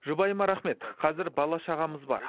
жұбайыма рахмет қазір бала шағамыз бар